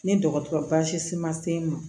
Ni dɔgɔtɔrɔ baasi ma se n ma